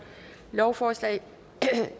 lovforslag